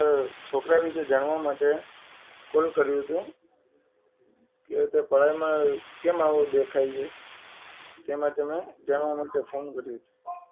છોકરા વિશે જાણવા માટે કોલ કર્યો તો કે તે પઢાઈ માં કેમ આવો દેખાય છે તેમજ અમે જાણવા માટે ફોન કર્યો છે.